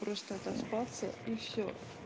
просто отоспаться и всё